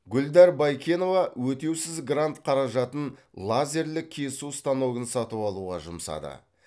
гүлдар байкенова өтеусіз грант қаражатын лазерлік кесу станогын сатып алуға жұмсады